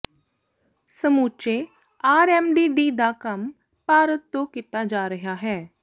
ਸਮੁੱਚੇ RMD D ਦਾ ਕੰਮ ਭਾਰਤ ਤੋਂ ਕੀਤਾ ਜਾ ਰਿਹਾ ਹੈ